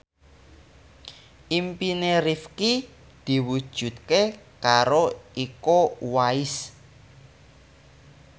impine Rifqi diwujudke karo Iko Uwais